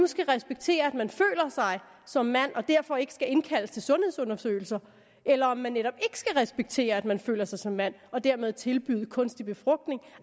skal respekteres at man føler sig som mand og derfor ikke skal indkaldes til sundhedsundersøgelser eller om det netop ikke skal respekteres at man føler sig som mand og dermed tilbydes kunstig befrugtning